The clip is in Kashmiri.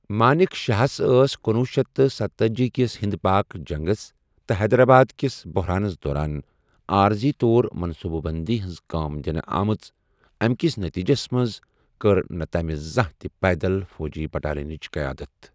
مانِك شاہس ٲس کنۄہ شیتھ ستتأجی کِس ہِنٛد پٲکِ جنٛگس تہٕ حیدرٛآباد کِس بۄحرانس دوران عٲرضی طور منٛصوٗبہٕ بٔنٛدی ہنز كۭٲم دِنہٕ آمٕژ ، اَمہِ کِس نٔتیٖجس منٛزِ ، کٔر نہٕ تمہِ زانٛہہ تہِ پیدَل فوجی بٹالِینچہِ قیادت.